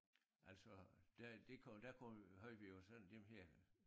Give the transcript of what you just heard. Altså der det kunne der kunne havde vi jo så dem her